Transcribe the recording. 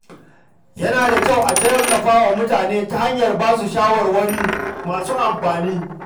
Yana da kyau a tallafa wa mutane ta hanyar basu shawarwari masu amfani.